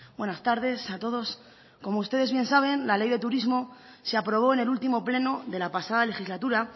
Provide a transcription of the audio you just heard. buenas tardes a todos como ustedes bien saben la ley de turismo se aprobó en el último pleno de la pasada legislatura